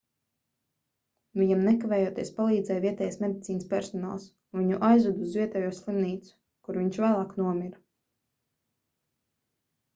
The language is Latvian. viņam nekavējoties palīdzēja vietējais medicīnas personāls un viņu aizveda uz vietējo slimnīcu kur viņš vēlāk nomira